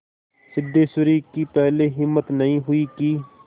सिद्धेश्वरी की पहले हिम्मत नहीं हुई कि